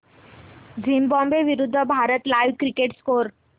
Zimbabwe विरूद्ध Bharat live cricket score